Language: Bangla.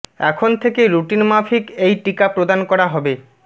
এখন থেকে রুটিন মাফিক এই টিকা প্রদান করা হবে